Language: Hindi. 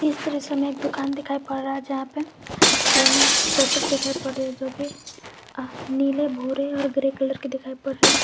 इस दृश्य में दुकान दिखाई पड़ रहा है जहां पे तीन शटर दिखाई पड़ रहे है जोकि नीले भूरे और ग्रे कलर के दिखाई पड़ रहे है।